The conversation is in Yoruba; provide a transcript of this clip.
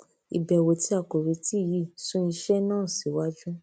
ìbẹwò tí a kò retí yìí sún iṣẹ náà síwájú